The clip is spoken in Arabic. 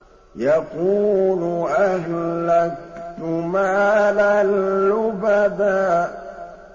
يَقُولُ أَهْلَكْتُ مَالًا لُّبَدًا